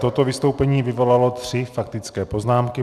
Toto vystoupení vyvolalo tři faktické poznámky.